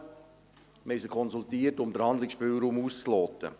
Wir haben sie konsultiert, um den Handlungsspielraum auszuloten.